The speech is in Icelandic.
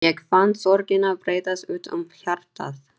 Ég fann sorgina breiðast út um hjartað.